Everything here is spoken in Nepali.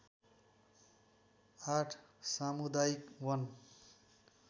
८ सामुदायिक वन